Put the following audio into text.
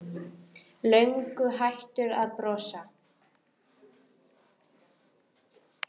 Löngu hættur að brosa.